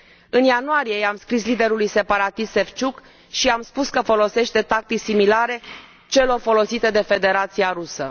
În ianuarie i am scris liderului separatist Șevciuc și i am spus că folosește tactici similare celor folosite de Federația Rusă.